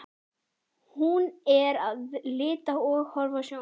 Hún er að lita og horfa á sjónvarpið.